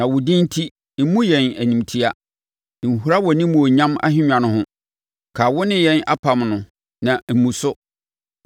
Na wo din enti mmu yɛn animtia; nhura wʼanimuonyam ahennwa no ho. Kae wo ne yɛn apam no na mmu so.